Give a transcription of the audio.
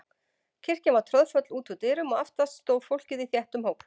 Kirkjan var troðfull út úr dyrum og aftast stóð fólkið í þéttum hóp.